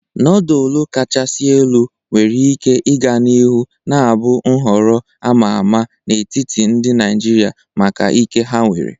Nodulu kachasị elu nwere ike ịga n'ihu na-abụ nhọrọ a ma ama n'etiti ndị Naijiria maka ike ha nwere.